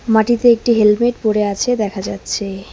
মাটিতে একটি হেলমেট পড়ে আছে দেখা যাচ্ছে।